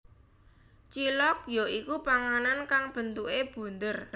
Cilok ya iku panganan kang bentuke bunder